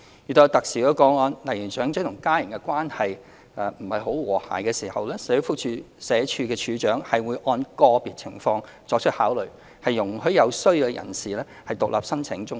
遇有特殊個案，例如長者與家人的關係不太和諧時，社署署長會按個別情況作出考慮，容許有需要的人士獨立申請綜援。